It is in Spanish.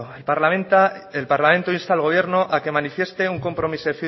el parlamento insta al gobierno a que manifieste